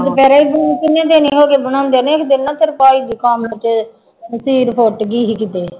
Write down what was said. ਦੁਪਹਿਰੇ ਊਂ ਕਿੰਨੇ ਦਿਨ ਹੀ ਹੋ ਗਏ ਬਣਾਉਂਦੇ ਨੇ, ਇੱਕ ਦਿਨ ਨਾ ਤੇਰੇ ਭਾਈ ਦੇ ਕੰਮ ਤੇ ਨਸੀਰ ਫੁੱਟ ਗਈ ਸੀ ਕਿਤੇ।